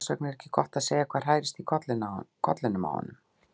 Þess vegna er ekki gott að segja hvað hrærist í kollinum á honum.